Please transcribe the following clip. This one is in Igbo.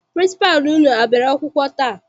Pịrịnsịpalụ unu a bịara akwụkwọ taa?